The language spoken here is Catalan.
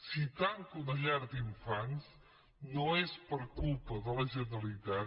si tanca una llar d’infants no és per culpa de la generalitat